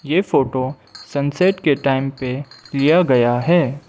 ये photo sunset के time पे लिया गया है।